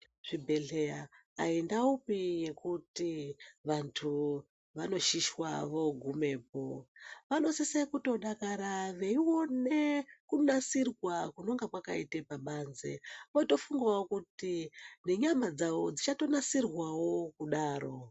Zvibhedhlera aindaupi yekuti vantu vanoshishwa vogumapo vanosisa kutodakara veiona kunasirwa kunenge kwakaitwa pabanze votofundawo kuti nenyama Dzawo dzichatonasirwawo kudaro.